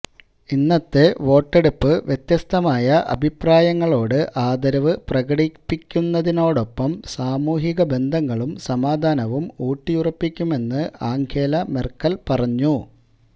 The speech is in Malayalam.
ഇന്നത്തെ വോട്ടെടുപ്പ് വ്യത്യസ്തമായ അഭിപ്രായങ്ങളോട് ആദരവ് പ്രകടിപ്പിക്കുന്നതോടൊപ്പം സാമൂഹിക ബന്ധങ്ങളും സമാധാനവും ഊട്ടിയുറപ്പിക്കുമെന്ന് ആംഗേല മെര്ക്കല് പറഞ്ഞു